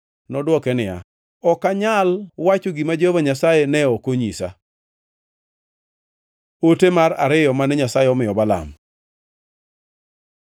Nodwoke niya, “Ok anyal wacho gima Jehova Nyasaye ne ok onyisa?” Ote mar ariyo mane Nyasaye omiyo Balaam